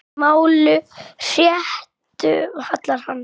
Máli réttu hallar hann